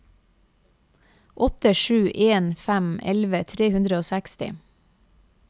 åtte sju en fem elleve tre hundre og seksti